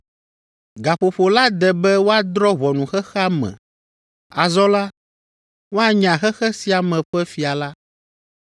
Gaƒoƒo la de be woadrɔ̃ ʋɔnu xexea me; azɔ la, woanya xexe sia me ƒe fia la.